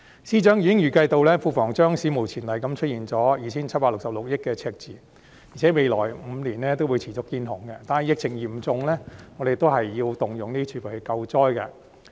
司長已經預計庫房將史無前例地出現 2,766 億元的赤字，而且未來5年會持續"見紅"，但疫情嚴重，政府仍要動用儲備來救災。